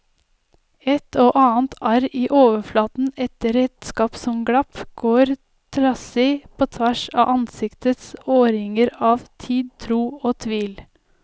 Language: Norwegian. Et og annet arr i overflaten etter redskap som glapp, går trassig på tvers av ansiktets årringer av tid, tro og tvil.